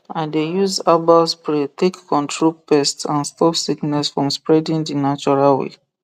i dey use herbal spray take control pests and stop sickness from spreading the natural way